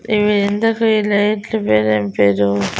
ఇవి ఎందుకు ఈ లైట్లు పేరేంపేరు?